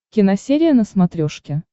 киносерия на смотрешке